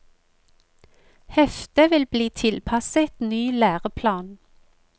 Heftet vil bli tilpasset ny læreplan.